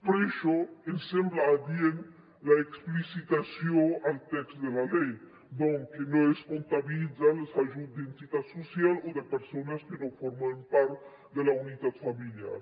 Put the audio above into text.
per això ens sembla adient l’explicitació al text de la llei doncs que no es comptabilitzen els ajuts d’entitats socials o de persones que no formen part de la unitat familiar